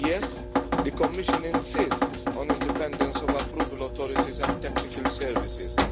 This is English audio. Yes, the Commission insists on independence of approval authorities and technical services.